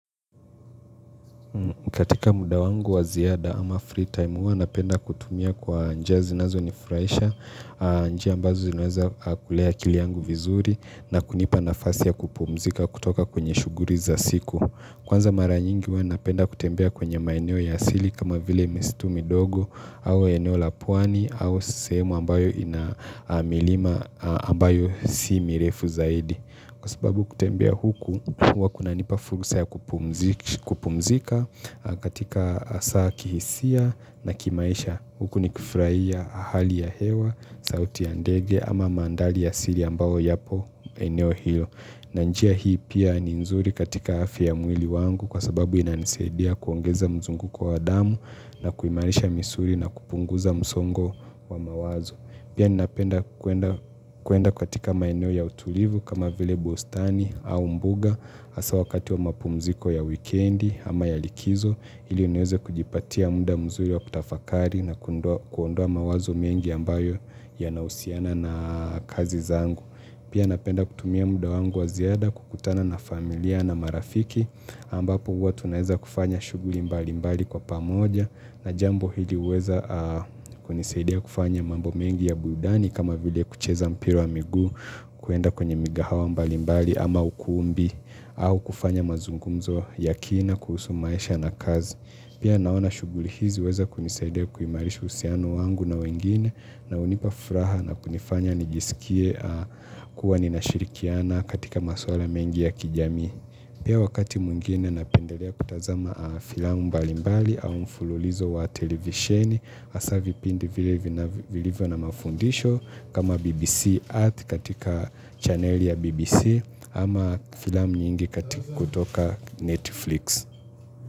Katika muda wangu wa ziada ama free time, hua napenda kutumia kwa njia zinazonifurahisha. Njia ambazo zinaweza kulea akili yangu vizuri na kunipa nafasi ya kupumzika kutoka kwenye shughuri za siku. Kwanza mara nyingi hua napenda kutembea kwenye maeneo ya asili kama vile misitu midogo au eneo la pwani au sehemu ambayo ina milima ambayo si mirefu zaidi. Kwa sababu kutembea huku hua kunanipa fursa ya kupumzika katika, hasa kihisia na kimaisha huku nikifurahia hali ya hewa, sauti ya ndege ama mandhari ya asili ambao yapo eneo hilo. Na njia hii pia ni nzuri katika afya ya mwili wangu kwa sababu inanisaidia kuongeza mzunguko wa damu na kuimarisha misuli na kupunguza msongo wa mawazo. Pia ninapenda kuenda katika maeneo ya utulivu kama vile bustani au mbuga hasa wakati wa mapumziko ya wikendi ama ya likizo ili niweze kujipatia muda mzuri wa kutafakari na kuondoa mawazo mengi ambayo yanahusiana na kazi zangu. Pia napenda kutumia muda wangu wa ziada kukutana na familia na marafiki ambapo huwa tunaweza kufanya shughuli mbali mbali kwa pamoja na jambo hili huweza kunisaidia kufanya mambo mengi ya burudani kama vile kucheza mpira wa miguu kuenda kwenye migahawa mbali mbali ama ukumbi au kufanya mazungumzo ya kina kuhusu maisha na kazi. Pia naona shughuli hizi huweza kunisaidia kuimarisha uhusiano wangu na wengine na hunipa furaha na kunifanya nijisikie kuwa ninashirikiana katika maswala mengi ya kijamii. Pia wakati mwingine napendelea kutazama filamu mbalimbali au mfululizo wa televisheni hasa vipindi vile vilivyo na mafundisho kama BBC Art katika channel ya BBC ama filamu nyingi katika kutoka Netflix.